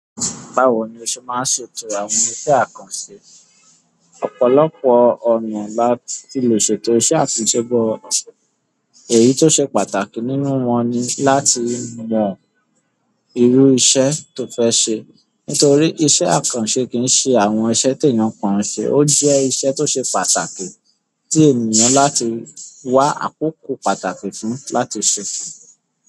Báwo ni o ṣe máa ń ṣètò àwọn iṣẹ́ àkànṣe? Ọ̀pọ̀lọpọ̀ ọ̀nà láti lè ṣètò iṣẹ́ àtúnṣe, èyí tó ṣe pàtàkì nínú wọn ni láti mọ irú iṣẹ́ tó fẹ́ ṣe. Nítorí iṣẹ́ àkànṣe kì í ṣe àwọn iṣẹ́ tí èèyàn pọ̀ ń ṣe, ó jẹ́ iṣẹ́ tó ṣe pàtàkì tí èèyàn láti wá àkókò pàtàkì fún un láti ṣe é.